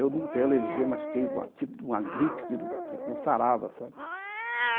Eu não tenho alergia, mas fiquei com uma gripe que não sarava, sabe?